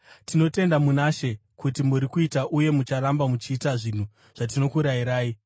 Tinotenda muna She kuti muri kuita uye mucharamba muchiita zvinhu zvatinokurayirai.